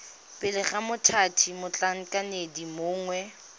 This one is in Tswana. pele ga mothati motlhankedi mongwe